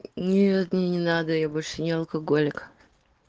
нет мне не надо я больше не алкоголик